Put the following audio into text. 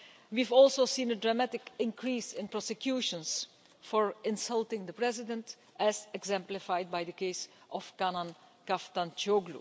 We've also seen a dramatic increase in prosecutions for insulting the President, as exemplified by the case of Canan Kaftancioğlu.